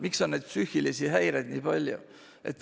Miks on psüühilisi häireid nii palju?